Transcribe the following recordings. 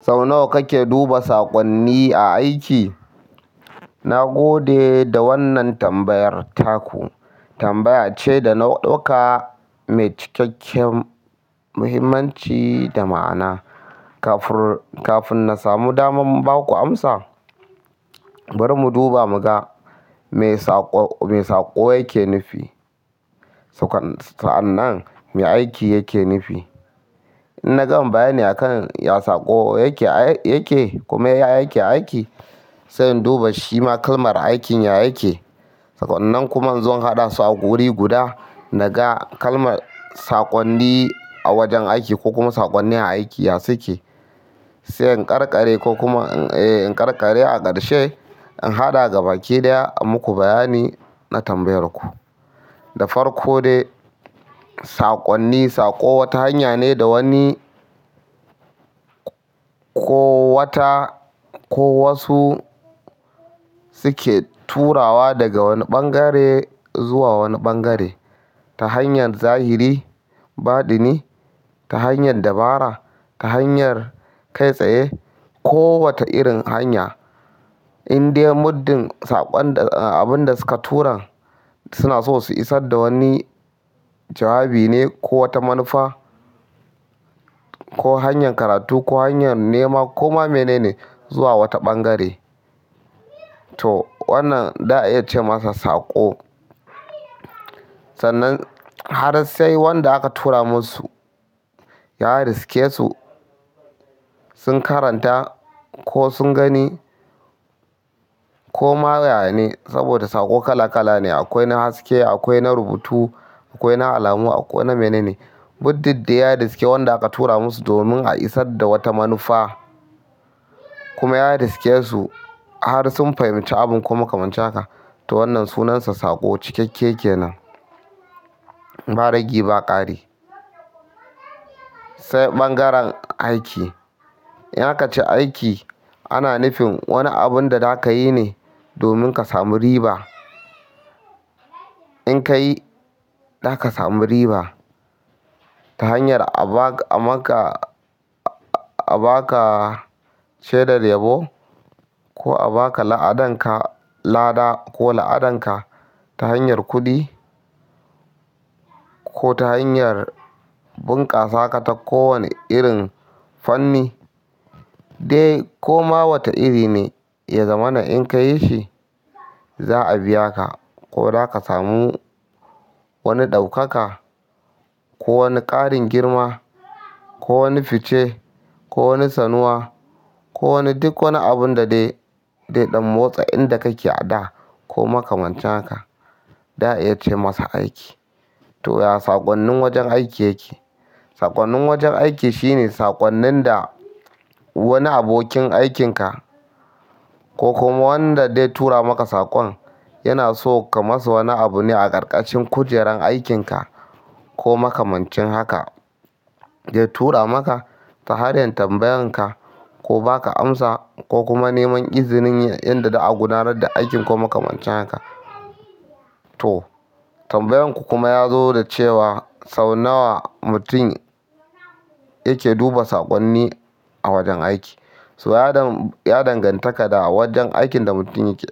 Sau nawa kake duba saƙonni a aiki? Na gode da wannan tambayar taku. Tambaya ce da na ɗauka mai cikakken muhimmanci da ma'ana. Kafin na samu damar ba ku amsa, bari mu duba mu ga me saƙo yake nufi. Sa'an nan me aiki yake nufi. In na gama bayani a kan ya saƙo yake, kuma ya yake aiki, sai in duba shima kalmar aikin ya yake. Sa'nnan kuma in zo na haɗa su a wuri guda, na ga kalmar saƙonni a wajen aiki ko kuma saƙonnin aiki ya suke. Sai in karkare a ƙarshe, in haɗa ga baki ɗaya a muku bayani na tambayar ku. Da farko dai, saƙonni, saƙo wata hanya ne da wani ko wata ko wasu suke turawa daga wani ɓangare zuwa wani ɓangare. Ta hanyar zahiri, badini, ta hanyar dabara, ta hanyar kai tsaye ko wata irin hanya. Inde muddin sakon da abin da su ka turan suna so su isar da wani jawabi ne ko wata manufa, ko hanyar karatu ko hanyar nema ko ma mene ne zuwa wata ɓangare. To wannan za a iya ce masa saƙo. Sannan har sai wanda aka tura musu ya riske su, sun karanta ko sun gani ko ma yaya ne. Saboda saƙo kala kala ne. Akwai na haske akwai na rubutu, akwai na alamu, akwai na mene ne. Muddin dai ya riske wanda aka tura musu domin a isar da wata manufa kuma ya riske su har sun fahimci abin ko makamancin haka, to wannan sunansa saƙo. Cikakke kenan. Ba ragi ba ƙari. Sai bangaren aiki in aka ce aiki, ana nufin wani abun da za ka yi ne domin ka samu riba. In ka yi, za ka samu riba. Ta hanyar a ba ka shedar yabo ko a ba ka la'adanka lada ka lada ko la'adanka ta hanyar kuɗi ko ta hanyar bunkasa ka ta kowane irin fanni. Dai ko ma wata iri ne, ya zama na in ka yi shi, za a biya ka ko za ka sami wani daukaka ko wani karin girma ko wani fice ko wani sanuwa ko wani duk wani abunda dai zai yakan dan motsa inda kake ada ko makamancin haka. Za a iya ce masa aiki. To ya saƙonnin wajen aiki yake. Saƙonnin wajen aiki shine saƙonnin da wani abokin aikin ka ko kuma wanda dai tura maka saƙon yana so ka masa wani abu ne a ƙarƙashin kujerar aikin ka ko makamancin haka. Zai tura maka ta hanyar tambayan ka ko ba ka amsa ko kuma neman izinin ya inda za a gudanar da aikin ko makamancin haka. To tambayar ku kuma ya zo da cewa sau nawa mutum yake duba saƙonni a wajen aiki. So ya danganta da wajen aikin da mutum yake.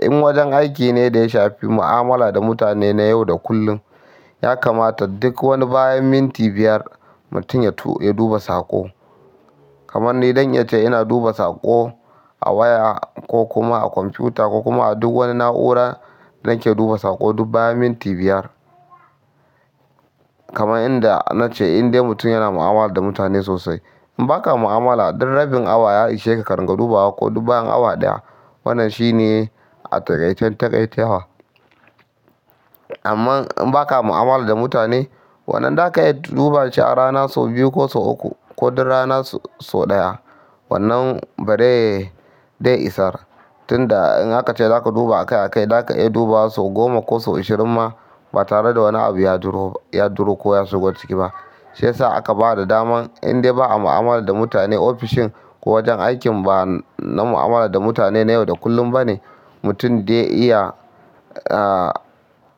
In wajen aiki ne da ya shafi mu'amala da mutane na yau da kullum, ya kamata duk wani bayan minti biyar mutum ya duba saƙo. Kaman ni zan iya ce ina duba saƙo a waya ko kuma a kwamfuta ko kuma a duk wani na'ura, da nake duba saƙo duk bayan minti biyar. Kaman inda na ce indai mutum yana mu'amala da mutane sosai. In ba ka mu'amala, duk rabin awa ya ishe ka ka ringa duba wa ko duk bayan awa ɗaya. Wannan shi ne a taƙaicen taƙaitawa. Amma in ba ka mu'amala da mutane, wannan za ka iya duba shi a rana sau biyu ko sau uku ko duk rana sau ɗaya. Wannan bare zai isar. Tunda in aka ce za ka duba a kai a kai, za ka iya duba wa sau goma ko sau ashirin ma ba tare da wani abu ya dur ko ya shigo ciki ba. Sai sa aka ba da daman inda ba a mu'amala da mutane, ofishin ko wajen aikin ba na mu'amala da mutane na yau da kullum ba ne, mutum dai iya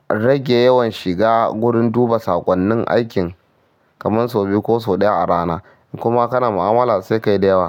rage yawan shiga wurin duba saƙonnin aikinkaman sau biyu ko sau ɗaya a rana. In kuma kana mu'amala, sai ka yi da yawa.